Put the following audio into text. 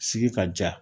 Sigi ka ja